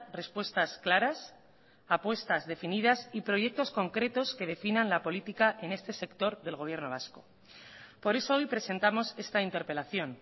respuestas claras apuestas definidas y proyectos concretos que definan la política en este sector del gobierno vasco por eso hoy presentamos esta interpelación